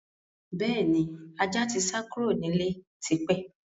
Bẹ́ẹ̀ni, ajá tí sá kúrò nílé tí pẹ́.